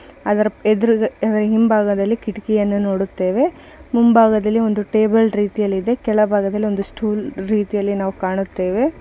ಅದರ ಎದುರು ಹಿಂಬಾಗದಲ್ಲಿ ಒಂದು ಕೀಟಕಿಯನ್ನ ನೋಡುತ್ತೇವೆ ಮುಂಭಾಗದಲ್ಲಿ ಒಂದು ಟೇಬಲ್ ರೀತಿಯಲ್ಲಿದೆ ಕೆಳಭಾಗದಲ್ಲಿ ಒಂದು ಸ್ಟೂಲ್ ರೀತಿಯಲ್ಲಿ ನಾವು ಕಾಣುತ್ತೇವೆ.